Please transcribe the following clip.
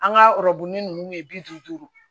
An ka ninnu ye bi duuru duuru